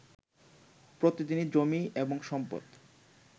প্রতিদিনই জমি এবং সম্পদ